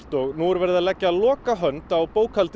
og nú er verið að leggja lokahönd á